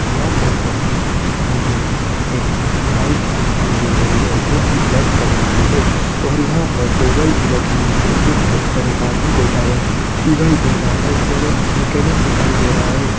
या फोटो मे मुजे एक बाइ दिखाई देरी है जोकी ब्लैक कलर की है और यहाँ पर टेबल बी लगी हुई है जिसके ऊपर एक आदमी बैठा हुए दिखाई देरा है और एक मिकैनिक दिखाई देरा है।